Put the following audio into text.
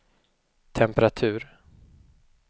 temperatur